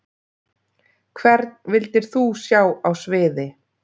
Hvern vildir þú sjá á sviði?